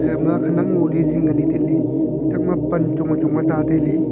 gama khanak ngo le jing le taile gathak ma pan chungwai chung ka ta taile.